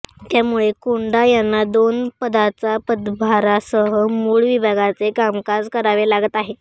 त्यामुळे कोंडा यांना दोन पदाचा पदभारासह मुळ विभागाचे कामकाज करावे लागत आहे